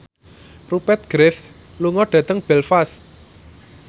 Rupert Graves lunga dhateng Belfast